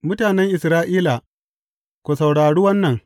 Mutanen Isra’ila, ku saurari wannan.